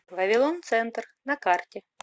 вавилон центр на карте